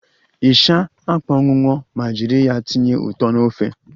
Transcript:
Ịsha akpọnwunwọ ma jiri ya tinye ụtọ na ofe